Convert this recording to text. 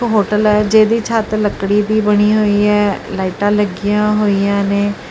Hotel ਹੈ ਜਿਹਦੀ ਛੱਤ ਲੱਕੜੀ ਦੀ ਬਣੀ ਹੋਈ ਹੈ ਲਾਈਟਾਂ ਲੱਗੀਆਂ ਹੋਈਆਂ ਨੇ।